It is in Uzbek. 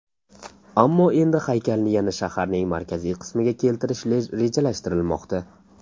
Ammo endi haykalni yana shaharning markaziy qismiga keltirish rejalashtirilmoqda.